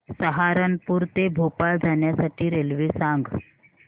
सहारनपुर ते भोपाळ जाण्यासाठी रेल्वे सांग